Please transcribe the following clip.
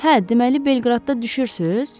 Hə, deməli Belqradda düşürsüz?